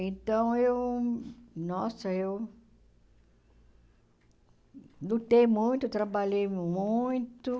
Então, eu... Nossa, eu... Lutei muito, trabalhei muito.